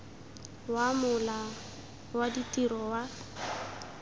wa mola wa ditiro wa